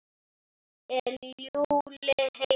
Er Lúlli heima?